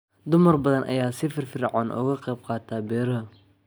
Dumar badan ayaa si firfircoon uga qayb qaata beeraha.